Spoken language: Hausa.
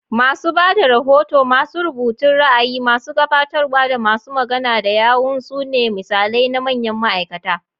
Masu ba da rahoto, masu rubutun ra'ayi, masu gabatarwa, da masu magana da yawun su ne misalai na manyan ma'aikata.